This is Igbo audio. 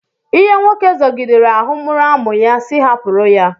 Ihe nwoke zọgidere ahụ mkpụrụ amụ ya, sị hapụrụ ya